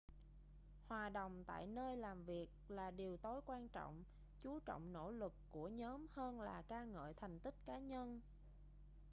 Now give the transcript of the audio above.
hòa đồng tại nơi làm việc là điều tối quan trọng chú trọng nỗ lực của nhóm hơn là ca ngợi thành tích cá nhân